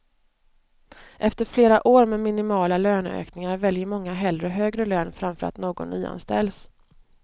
Efter flera år med minimala löneökningar väljer många hellre högre lön framför att någon nyanställs.